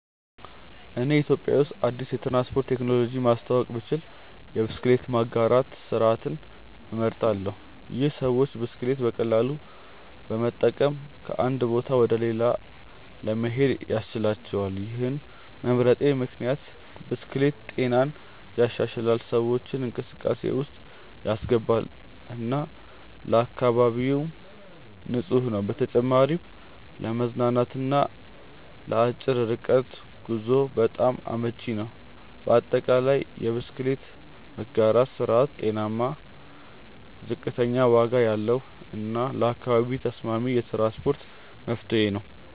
እኔ ኢትዮጵያ ውስጥ አዲስ የትራንስፖርት ቴክኖሎጂ ማስተዋወቅ ብችል የብስክሌት መጋራት ስርዓትን እመርጣለሁ። ይህ ሰዎች ብስክሌት በቀላሉ በመጠቀም ከአንድ ቦታ ወደ ሌላ ለመሄድ ያስችላቸዋል። ይህን መምረጤ ምክንያት ብስክሌት ጤናን ይሻሻላል፣ ሰዎችን እንቅስቃሴ ውስጥ ያስገባል እና ለአካባቢም ንፁህ ነው። በተጨማሪም ለመዝናናት እና ለአጭር ርቀት ጉዞ በጣም አመቺ ነው። በአጠቃላይ፣ የብስክሌት መጋራት ስርዓት ጤናማ፣ ዝቅተኛ ዋጋ ያለው እና ለአካባቢ ተስማሚ የትራንስፖርት መፍትሄ ነው።